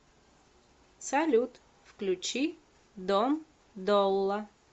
салют включи дом долла